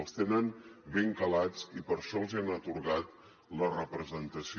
els tenen ben calats i per això els hi han atorgat la representació